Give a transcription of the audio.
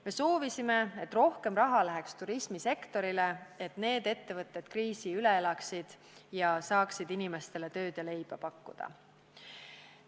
Me soovisime, et rohkem raha läheks turismisektorile, et need ettevõtted kriisi üle elaksid ja saaksid inimestele tööd ja leiba pakkuda.